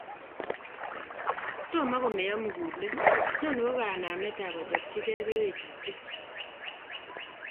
toma komean mugulel, noni ko ganamet ap achapchigee keluutyet